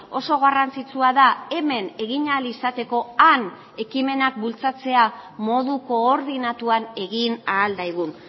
oso garrantzitsua da hemen egin ahal izateko han ekimenak bultzatzea modu koordinatuan egin ahal daigun